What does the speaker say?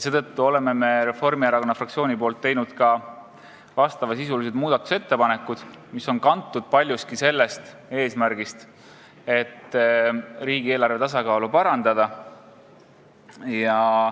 Seetõttu on Reformierakonna fraktsioon teinud muudatusettepanekud, mis on kantud paljuski eesmärgist riigieelarve tasakaalu parandada.